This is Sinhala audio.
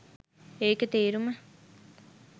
ඒකේ තේරුම